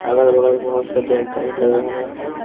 अगल-बगल बहुत सारे गाड़ी दिखाई दे रहा है।--